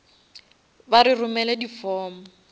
ba re romele di form